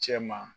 Cɛ ma